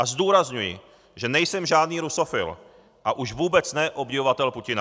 A zdůrazňuji, že nejsem žádný rusofil, a už vůbec ne obdivovatel Putina.